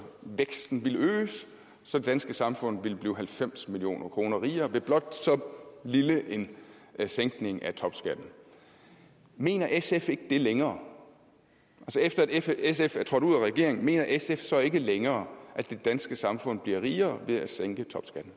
væksten ville øges så det danske samfund ville blive halvfems million kroner rigere ved blot så lille en sænkning af topskatten mener sf ikke det længere efter at sf er trådt ud af regeringen mener sf så ikke længere at det danske samfund bliver rigere ved at sænke